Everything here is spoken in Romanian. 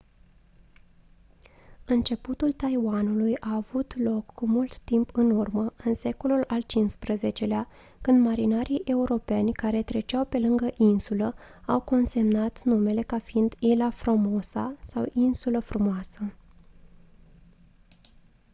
începutul taiwanului a avut loc cu mult timp în urmă în secolul al xv-lea când marinarii europeni care treceau pe lângă insulă au consemnat numele ca fiind ilha formosa sau insula frumoasă